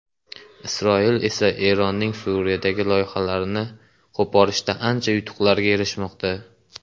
Isroil esa Eronning Suriyadagi loyihalarini qo‘porishda ancha yutuqlarga erishmoqda.